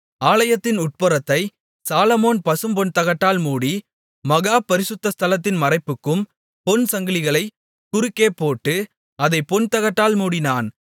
ஆலயத்தின் உட்புறத்தை சாலொமோன் பசும்பொன்தகட்டால் மூடி மகா பரிசுத்த ஸ்தலத்தின் மறைப்புக்கும் பொன்சங்கிலிகளைக் குறுக்கே போட்டு அதைப் பொன்தகட்டால் மூடினான்